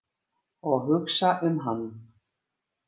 Og hugsa um hann.